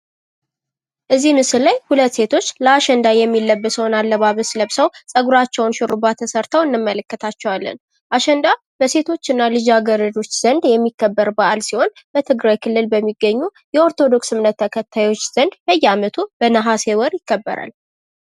እዚህ ምስል ላይ ሁለት ሴቶች ለአሸንዳ የሚለበሰውን አለባበስ ለብሰው ጸጉራቸዉን ሹርባ ተሰርተው እንመለከታቸዋለን። አሸንዳ በሴቶች እና ልጃገርዶች ዘንድ የሚከበር ሲሆን በትግራይ ክልል በሚገኝ የኦርቶዶክስ እምነት ተከታዮች በየአመቱ በነሀሴ ወር ይከበራል።